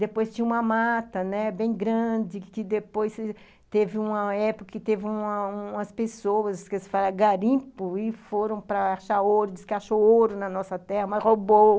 Depois tinha uma mata, né, bem grande, que depois teve uma época que teve umas umas pessoas, esqueço se fala, garimpo, e foram para achar ouro, disse que achou ouro na nossa terra, mas roubou.